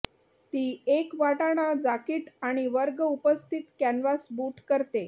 ती एक वाटाणा जाकीट आणि वर्ग उपस्थित कॅनव्हास बूट करते